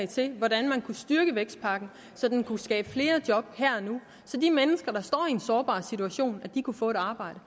til hvordan man kunne styrke vækstpakken så den kunne skabe flere job her og nu så de mennesker der står i en sårbar situation kunne få et arbejde